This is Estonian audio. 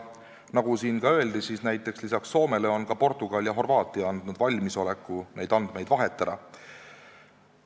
Nagu juba öeldud, lisaks Soomele on ka Portugal ja Horvaatia andnud valmisoleku neid andmeid vahetada.